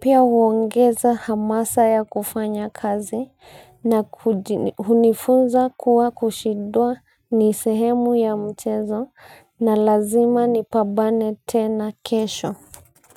pia huongeza hamasa ya kufanya kazi na hunifunza kuwa kushindwa ni sehemu ya mchezo na lazima nipambane tena kesho.